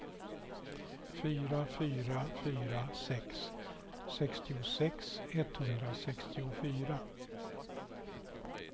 fyra fyra fyra sex sextiosex etthundrasextiofyra